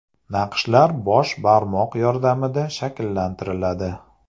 Naqshlar bosh barmoq yordamida shakllantiriladi.